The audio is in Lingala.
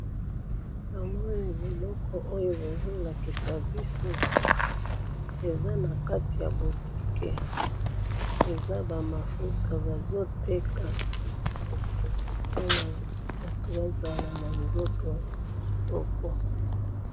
Namoni biloko oyo bazolakisa biso, eza nakati ya boutique, eza bamafuta bazoteka, pona batu bazala nanzoto kitoko.